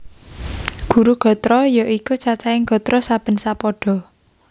Guru gatra ya iku cacahing gatra saben sapada